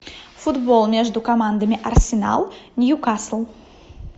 футбол между командами арсенал ньюкасл